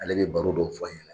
Ale bɛ baro dɔw fɔ a ɲɛnɛ.